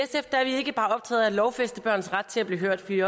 at lovfæste børns ret til at blive hørt vi